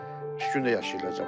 Düşgün də yaşayırlar camaat burda.